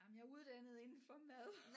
Jamen jeg er uddannet inden for mad